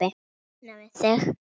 Losna við þig?